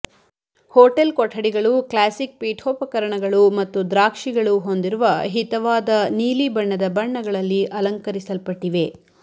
hotel ಕೊಠಡಿಗಳು classic ಪೀಠೋಪಕರಣಗಳು ಮತ್ತು ದ್ರಾಕ್ಷಿಗಳು ಹೊಂದಿರುವ ಹಿತವಾದ ನೀಲಿಬಣ್ಣದ ಬಣ್ಣಗಳಲ್ಲಿ ಅಲಂಕರಿಸಲ್ಪಟ್ಟಿವೆ